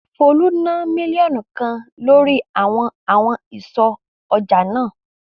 Folú ná mílíọ̀nù kan lórí àwọn àwọn ìsọ̀ ọjà náà.